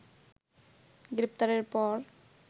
গ্রেপ্তারের পর